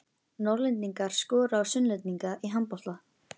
Norðlendingar skora á Sunnlendinga í handbolta.